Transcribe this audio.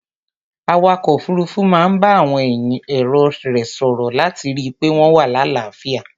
Awakọ̀ òfuruufu máa ń bá àwọn èrò rẹ̀ sòrò láti rí i pé wọn wà láàáfíà.